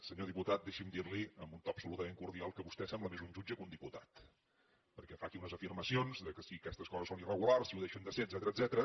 senyor diputat deixi’m dir li amb un to absolutament cordial que vostè sembla més un jutge que un diputat perquè fa aquí unes afirmacions que si aquestes coses són irregulars si ho deixen de ser etcètera